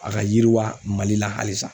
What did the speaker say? A ka yiriwa Mali la halisa